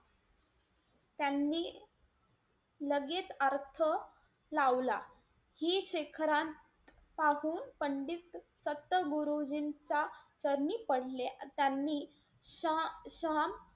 त्यांनी लगेच अर्थ लावला. कि शिखरात पाहून पंडित संत गुरुजींचा चरणी पडले. त्यांनी शा~ शाम,